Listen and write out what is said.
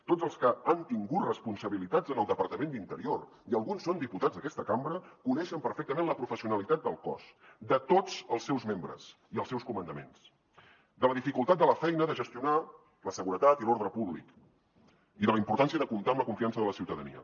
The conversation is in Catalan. tots els que han tingut responsabilitats en el departament d’interior i alguns són diputats d’aquesta cambra coneixen perfectament la professionalitat del cos de tots els seus membres i els seus comandaments la dificultat de la feina de gestionar la seguretat i l’ordre públic i la importància de comptar amb la confiança de la ciutadania